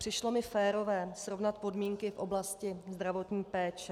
Přišlo mi férové srovnat podmínky v oblasti zdravotní péče.